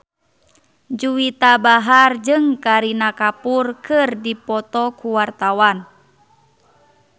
Juwita Bahar jeung Kareena Kapoor keur dipoto ku wartawan